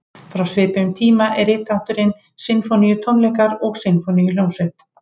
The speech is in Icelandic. Frá svipuðum tíma er rithátturinn sinfóníutónleikar og sinfóníuhljómsveit.